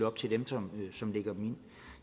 op til dem som som lægger dem ind